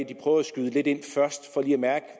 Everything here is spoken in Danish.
de prøver at skyde lidt ind først for lige at mærke